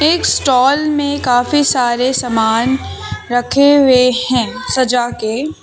एक स्टॉल में काफी सारे सामान रखे हुए है सजा के।